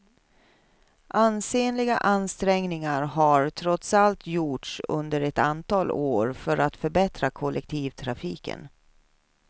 Ansenliga ansträngningar har trots allt gjorts under ett antal år för att förbättra kollektivtrafiken.